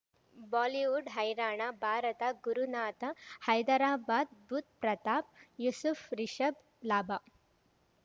Bollywood ಹೈರಾಣ ಭಾರತ ಗುರುನಾಥ ಹೈದರಾಬಾದ್ ಬುಧ್ ಪ್ರತಾಪ್ ಯೂಸುಫ್ ರಿಷಬ್ ಲಾಭ